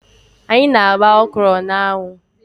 Anyị na-agba ọkwụrụ na-anwụ.